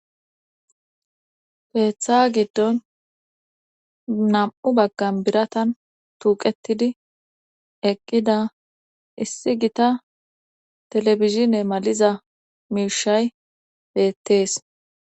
keeththa giddon nam7u baggan biratan tuuqetidi eqqida issi gita telebizine maliza miishay beettees